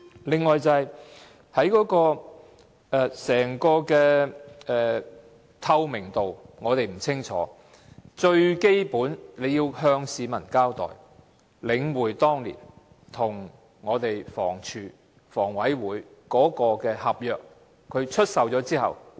此外，在透明度方面也並不理想，最基本也應該向市民交代在領展當年與房署和房屋委員會簽訂的合約中，有關出售後的情況為何。